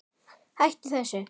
Hættu þessu